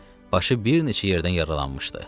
başı bir neçə yerdən yaralanmışdı.